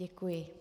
Děkuji.